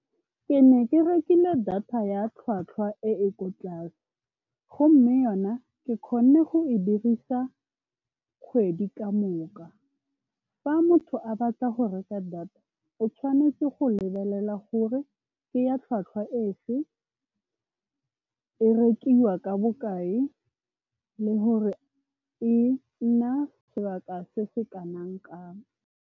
Ke ne ke rekile data ya tlhwatlhwa e e ko tlase gomme yona ke kgonne go e dirisa kgwedi ka moka. Fa motho a batla go reka data o tshwanetse go lebelela gore ke ya tlhwatlhwa e fe, e rekiwa ka bokae le gore e nna sebaka se se kanang-kang.